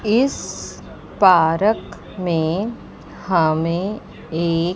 इस पार्क में हमें एक--